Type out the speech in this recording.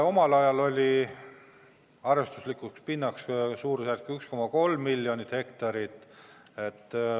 Omal ajal oli arvestuslik pindala suurusjärgus 1,3 miljonit hektarit.